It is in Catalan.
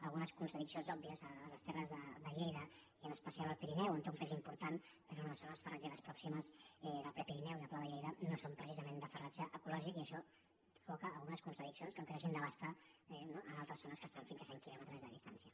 algunes contradiccions òbvies a les terres de lleida i en especial al pirineu on té un pes important però les zones farratgeres prò·ximes del prepirineu i del pla de lleida no són pre·cisament de farratge ecològic i això provoca algunes contradiccions com que s’hagin d’abastir en altres zo·nes que estan a fins a cent quilòmetres de distància